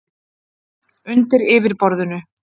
„undir yfirborðinu“